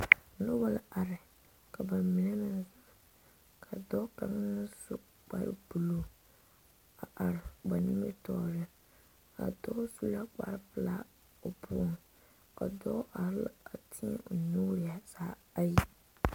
noba are ka ba mine meŋ zeŋ ka dɔɔ kaŋ su kpar buluu a are ba nimitɔɔre a dɔɔ su la kpar pelaa o poɔŋ ka dɔɔ are a teɛ o nuure zaa ayi